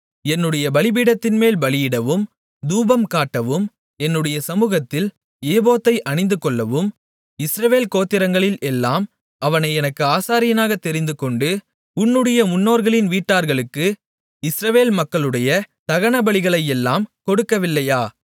என்னுடைய பலிபீடத்தின்மேல் பலியிடவும் தூபம் காட்டவும் என்னுடைய சமுகத்தில் ஏபோத்தை அணிந்துகொள்ளவும் இஸ்ரவேல் கோத்திரங்களில் எல்லாம் அவனை எனக்கு ஆசாரியனாகத் தெரிந்துகொண்டு உன்னுடைய முன்னோர்களின் வீட்டார்களுக்கு இஸ்ரவேல் மக்களுடைய தகனபலிகளையெல்லாம் கொடுக்கவில்லையா